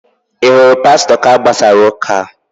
Ị hụrụ Pastọ ka a gbasara ụ́kà?